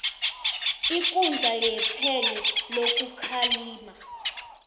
ikundla yephenyo lokukhalima